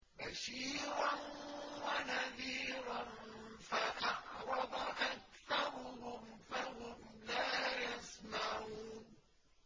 بَشِيرًا وَنَذِيرًا فَأَعْرَضَ أَكْثَرُهُمْ فَهُمْ لَا يَسْمَعُونَ